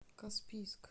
каспийск